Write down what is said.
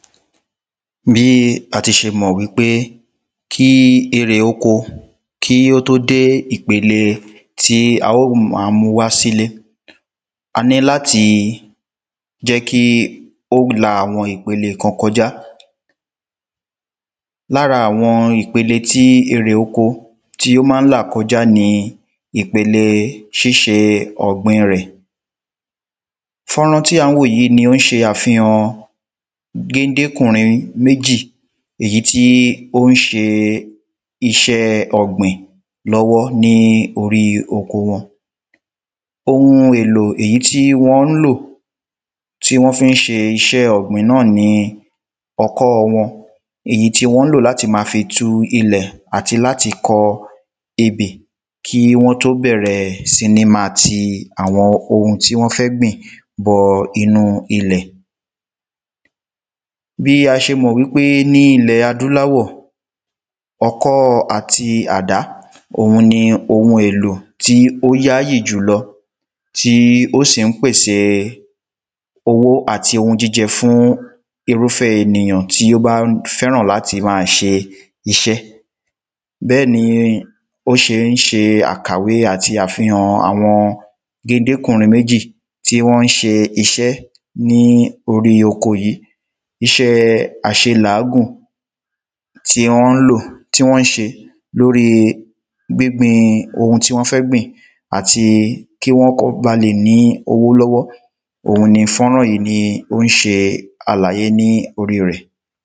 Bí a ti ṣe mọ̀ wípé kí èrè oko kí ó tó dé ìpele tí a óò máa mu wá sí ilé a níláti jẹ́ kí ó la àwọn ìpele kan kọjá Lára àwọn ìpele tí èrè oko tí ó ma ń là kọjá ni ìpele ṣíṣe ọ̀gbìn rẹ̀ Fọ́nrán tí à ń wò yìí ni ó ṣe àfihàn géndékùnrin méjì èyí tí ó ń ṣe iṣẹ́ ọ̀gbìn lọ́wọ́ ní orí oko wọn Oun èlò èyí tí wọ́n ń lò tí wọ́n fi ń ṣe iṣẹ́ ọ̀gbìn náà ni ọkọ́ wọn Èyí tí wọn ń lò láti ma fi tu ilẹ̀ àti láti kọ ebè kí wọ́n tó bẹ̀rẹ̀ sí ní ma ti àwọn oun tí wọ́n fẹ́ gbìn bọ inú ilẹ̀ Bí a ṣe mọ̀ wípé ní ilẹ̀ adúláwọ̀ Ọkọ́ àti àdá òun ni oun èlò tí ó yáyì jùlọ tí ó sì ń pèsè owó àti ounjíjẹ fún irúfé ènìyàn tí ó bá fẹ́ràn láti máa ṣe iṣẹ́ Bẹ́ẹ̀ ni ó ṣe ń ṣe àkàwé àti àfihàn àwọn géndékùnrin méjì tí wọ́n ń ṣe iṣẹ́ ní orí oko yìí Iṣẹ́ àṣe làágùn tí wọ́n ń lò tí wọ́n ń ṣe lóri gbígbìn oun tí wọń fẹ́ gbìn àti kí wọ́n ba lè ní owó lọ́wọ́ òun ni fọ́nrán yìí ni ó ń ṣe àlàyé ní orí rẹ̀